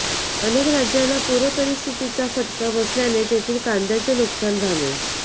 अनेक राज्यांना पूरपरिस्थितीचा फटका बसल्याने तेथील कांद्याचे नुकसान झाले